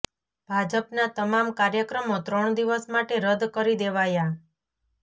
ભાજપના તમામ કાર્યક્રમો ત્રણ દિવસ માટે રદ કરી દેવાયા